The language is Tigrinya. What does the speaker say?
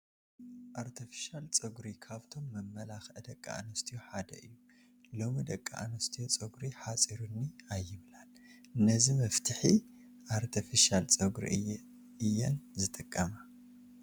ኣርተፊሻል ጨጉሪ ካብቶም መመላክዒ ደቂ ኣንስትዮ ሓደ እዩ፡፡ ሎሚ ደቂ ኣንስትዮ ጨጉሪ ሓፂሩኒ ኣይብላን፡፡ ነዚ መፍትሒ ኣርተፊሻል ጨጉሪ እየራን ዝጥቀማ፡፡